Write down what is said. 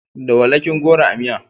Da walakin goro a miya.